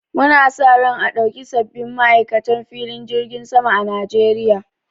Mu na sa ran a ɗauki sabbin ma'aikatan filin jirgin sama a Najeriya